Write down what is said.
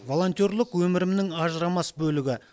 волонтерлік өмірімнің ажырамас бөлігі